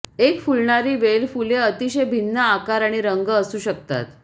एक फुलणारी वेल फुले अतिशय भिन्न आकार आणि रंग असू शकतात